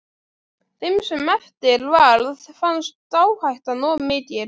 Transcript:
Þeim sem eftir varð fannst áhættan of mikil.